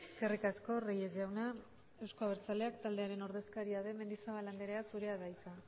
eskerrik asko reyes jauna euzko abertzaleak taldearen ordezkaria den mendizabal andrea zurea da hitza